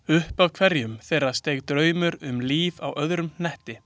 Upp af hverju þeirra steig draumur um líf á öðrum hnöttum.